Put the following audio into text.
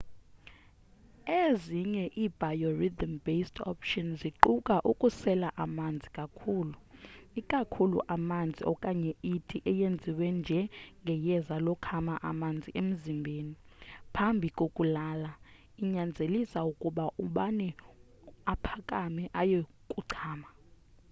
ezinye i biorhythm-based options ziquka ukusela amanzi kakhulu ikakhulu amanzi okanye iti eyaziwa nje ngeyeza lokhama amanzi emzimbeni phambi kokulala inyanzelise ukuba ubani aphakame aye kuchama